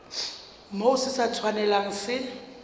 moo se sa tshwanelang se